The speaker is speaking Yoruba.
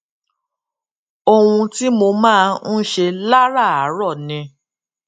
ohun tí mo máa ń ṣe láràárò ni